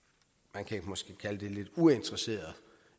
man kan måske kalde det lidt uinteresserede